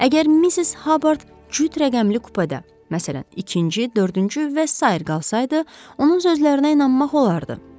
Əgər Missis Habard cüt rəqəmli kupedə, məsələn, ikinci, dördüncü və sair qalsaydı, onun sözlərinə inanmaq olardı.